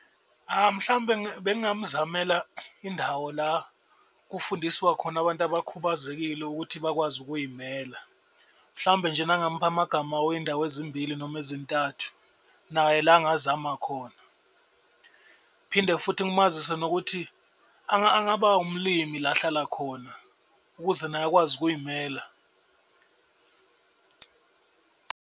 Mhlawumbe bengamzamela indawo la kufundiswa khona abantu abakhubazekile ukuthi bakwazi ukuy'mela. Mhlawumbe nje mangimupha amagama weyindawo ezimbili noma ezintathu naye la angazama khona. Phinde futhi ngimazise nokuthi angaba umlimi la ahlala khona ukuze naye akwazi ukuy'mela.